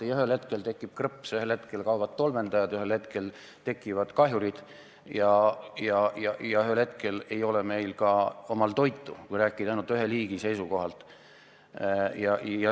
Ei, ühel hetkel tekib krõps, ühel hetkel kaovad tolmeldajad, ühel hetkel ilmuvad uued kahjurid ja ühel hetkel ei ole meil ka omal toitu, kui rääkida ainult ühe liigi seisukohalt.